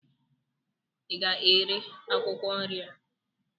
ị ga-ere akwụkwọ nri a?